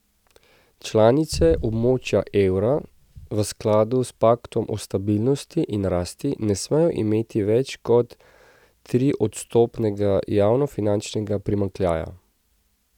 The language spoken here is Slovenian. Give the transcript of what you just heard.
Članice območja evra v skladu s paktom o stabilnosti in rasti ne smejo imeti več kot triodstotnega javnofinančnega primanjkljaja.